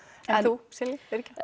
en þú Silja